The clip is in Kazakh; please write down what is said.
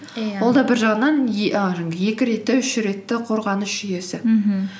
иә ол да бір жағынан і жаңағы екі ретті үш ретті қорғаныс жүйесі мхм